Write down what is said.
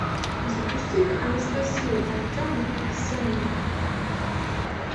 запусти ка анастасию артема аксененко